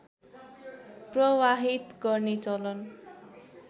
प्रवाहित गर्ने चलन